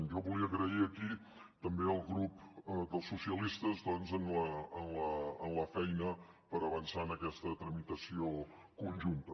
jo volia agrair aquí també el grup dels socialistes doncs per la feina per avançar en aquesta tramitació conjunta